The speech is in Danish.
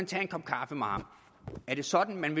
tage en kop kaffe med ham er det sådan man